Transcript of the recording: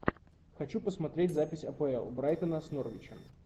хочу посмотреть запись апл брайтона с норвичем